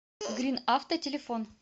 гринавто телефон